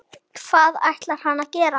Hvað ætlar hann að gera?